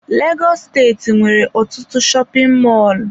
Legọs steeti nwere ọtụtụ shopin mọlụ.